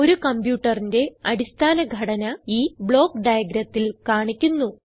ഒരു കംപ്യൂട്ടറിന്റെ അടിസ്ഥാന ഘടന ഈ ബ്ലോക്ക് diagramത്തിൽ കാണിക്കുന്നു